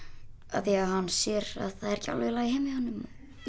af því að hann sér að það er ekki alveg í lagi heima hjá honum